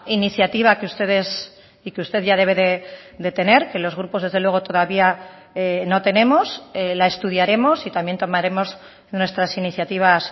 iniciativa que ustedes y que usted ya debe de tener que los grupos desde luego todavía no tenemos la estudiaremos y también tomaremos nuestras iniciativas